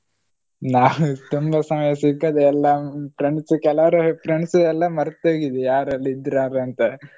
ನಾನು ತುಂಬ ಸಮಯ ಸಿಕ್ಕದೆ ಎಲ್ಲ friends ಕೆಲವರೆಲ್ಲ friends ಎಲ್ಲ ಮರ್ತೊಗಿದೆ ಯಾರೆಲ್ಲ ಇದ್ರು ಅಂತ.